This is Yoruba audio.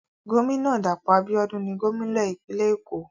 Gómìnà Dàpọ̀ Abíọ́dún ni gómìnà ìpínlẹ̀ Ògùn.